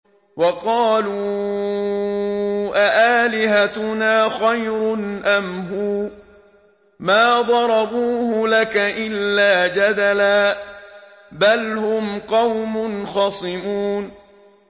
وَقَالُوا أَآلِهَتُنَا خَيْرٌ أَمْ هُوَ ۚ مَا ضَرَبُوهُ لَكَ إِلَّا جَدَلًا ۚ بَلْ هُمْ قَوْمٌ خَصِمُونَ